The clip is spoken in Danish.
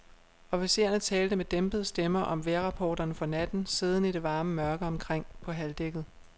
Officererne talte med dæmpede stemmer om vejrrapporterne for natten, siddende i det varme mørke omkring på halvdækkket.